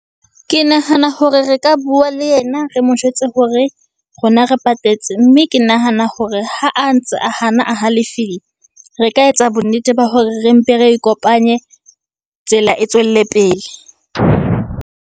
Ke nahana hore re ka bua le yena re mo jwetse hore rona re patetse. Mme ke nahana hore ha a ntse a hana a halefile, re ka etsa bonnete ba hore re mpe re ikopanye, tsela e tswelle pele.